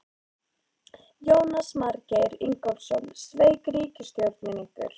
Jónas Margeir Ingólfsson: Sveik ríkisstjórnin ykkur?